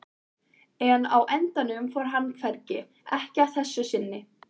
En á endanum fór hann hvergi, ekki að þessu sinni.